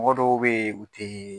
Mɔgɔ dɔw bey u tɛ.